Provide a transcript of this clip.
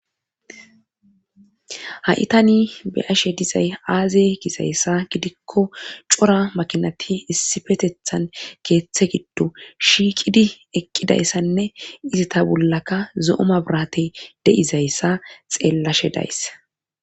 Ha7itani be ashe dizay aaze gizayssa gidikko cora makinati issifetethan geeththe giddo shiiqidi eqqidayssanne izi ta bollaka zo7oma biratey de7izayssa xeellashe dayssa